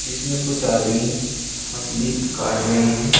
जीसमे कुछ आदमी मछली काट रहे हैं।